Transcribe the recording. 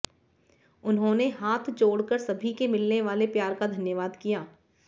उन्होंने हाथ जोड़ कर सभी के मिलने वाले प्यार का धन्यवाद किया